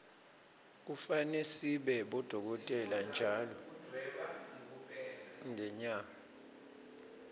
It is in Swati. kufane sibone bodolkotela ntjalo ngenyarge